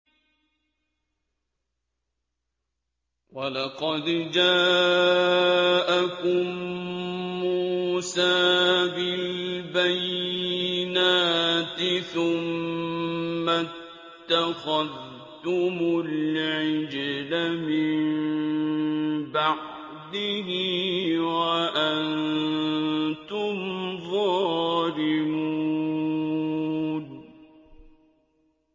۞ وَلَقَدْ جَاءَكُم مُّوسَىٰ بِالْبَيِّنَاتِ ثُمَّ اتَّخَذْتُمُ الْعِجْلَ مِن بَعْدِهِ وَأَنتُمْ ظَالِمُونَ